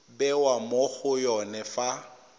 bewa mo go yone fa